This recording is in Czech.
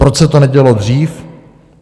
Proč se to nedělo dřív?